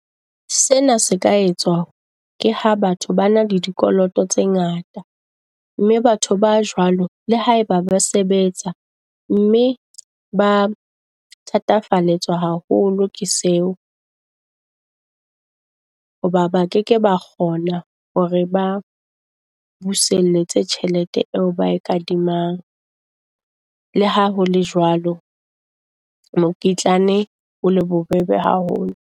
Sena se ka etswa ke ha batho ba na le di koloto tse ngata, mme batho ba jwalo le haeba ba sebetsa, mme ba thathafallwa haholo ke seo. Hoba ba keke ba kgona hore ba buseletse tjhelete eo bae kadimang. Le ha hole jwalo, mokitlane o le bobebe haholo.